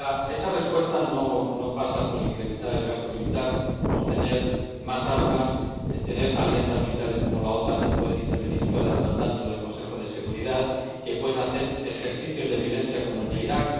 Esa respuesta no pasa por incrementar el gasto militar, por tener más armas, tener alianzas militares como la OTAN, que pueden intervenir fuera del mandato del Consejo de Seguridad y que pueden hacer ejercicios de violencia como el de Irak.